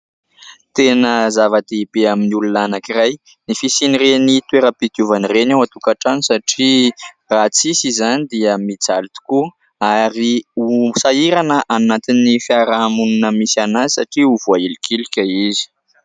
Tena zava-dehibe amin'ny olona anankiray, ny fisian'ireny toeram-pidiovana ireny ao an-tokantrano satria raha tsisy izany dia mijaly tokoa ary hosahirana any anantin'ny fiarahamonina misy an' azy, satria ho voahilikilika izy.